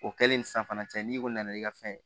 O kɛlen sisan fana cɛ n'i ko nana n'i ka fɛn ye